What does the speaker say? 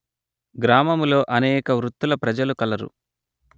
గ్రామములో అనేక వృత్తుల ప్రజలు కలరు